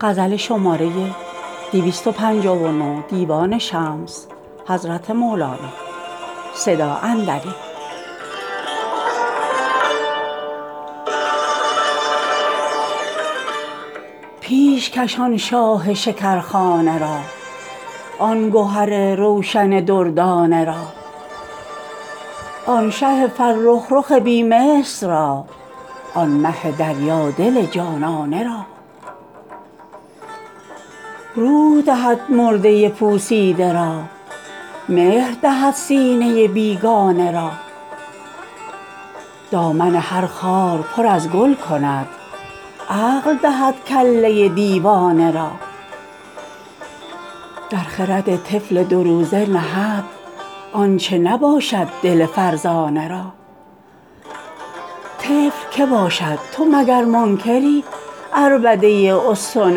پیش کش آن شاه شکر خانه را آن گهر روشن دردانه را آن شه فرخ رخ بی مثل را آن مه دریا دل جانانه را روح دهد مرده پوسیده را مهر دهد سینه بیگانه را دامن هر خار پر از گل کند عقل دهد کله دیوانه را در خرد طفل دو روزه نهد آنچ نباشد دل فرزانه را طفل کی باشد تو مگر منکری عربده استن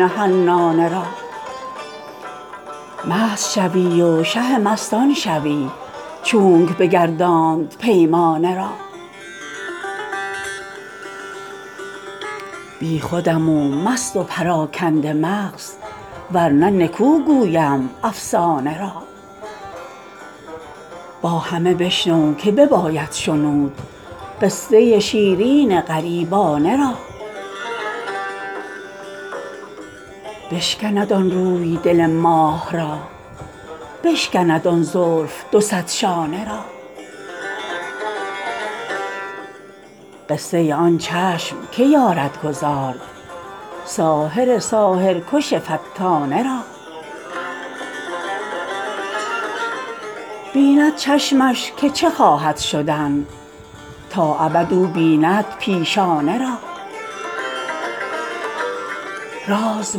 حنانه را مست شوی و شه مستان شوی چونک بگرداند پیمانه را بی خودم و مست و پراکنده مغز ور نه نکو گویم افسانه را با همه بشنو که بباید شنود قصه شیرین غریبانه را بشکند آن روی دل ماه را بشکند آن زلف دو صد شانه را قصه آن چشم کی یارد گزارد ساحر ساحرکش فتانه را بیند چشمش که چه خواهد شدن تا ابد او بیند پیشانه را راز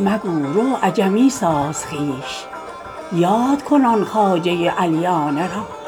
مگو رو عجمی ساز خویش یاد کن آن خواجه علیانه را